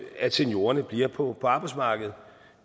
at seniorerne bliver på arbejdsmarkedet